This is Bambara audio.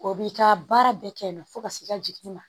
O b'i ka baara bɛɛ kɛ yen nɔ fo ka s'i ka jiginni ma